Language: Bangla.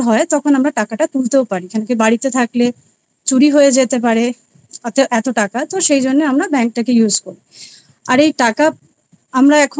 তখন আমরা টাকাটা তুলতেও পারি কেনো কি বাড়িতে থাকলে চুরি হয়ে যেতে পারে এত এতো টাকা সেই জন্য আমরা bank টাকে use করি আর এই টাকা আমরা এখন তো